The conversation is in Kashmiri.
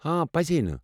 آ، پٔزے نہٕ۔